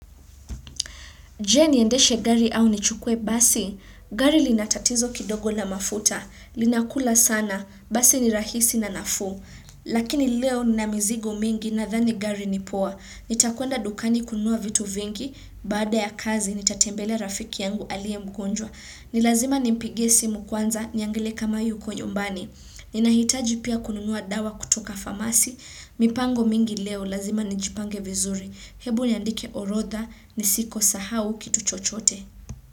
Je, niendeshe gari au nichukuwe basi? Gari linatatizo kidogo na mafuta linakula sana. Basi ni rahisi na nafu. Lakini leo ninamizigo mingi nadhani gari ni poa. Nitakwenda dukani kununua vitu vingi. Baada ya kazi, nitatembelea rafiki yangu aliye mgonjwa. Nilazima nimpigie simu kwanza, niangalie kama yuko nyumbani. Ni nahitaji pia kununua dawa kutoka famasi, mipango mingi leo lazima nijipange vizuri. Hebu niandike orodha ni siko sahau kitu chochote.